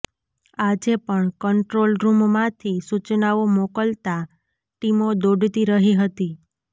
આજે પણ કંન્ટ્રોલરૃમમાંથી સુચનાઓ મોકલાતા ટીમો દોડતી રહી હતી